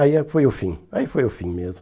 Aí ah foi o fim, aí foi o fim mesmo.